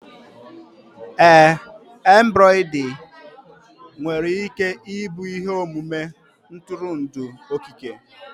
ee embroidery nwere ike ịbụ ihe omume ntụrụndụ okike